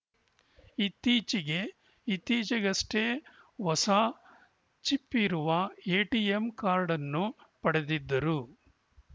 ಇತ್ತೀಚೆಗೆ ಇತ್ತೀಚೆಗಷ್ಟೇ ಹೊಸ ಚಿಪ್‌ ಇರುವ ಎಟಿಎಂ ಕಾರ್ಡ್‌ ಅನ್ನು ಪಡೆದಿದ್ದರು